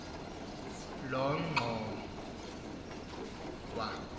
lonongxowa